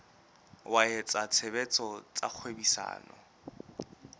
wa etsa tshebetso tsa kgwebisano